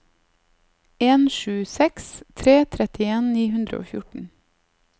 en sju seks tre trettien ni hundre og fjorten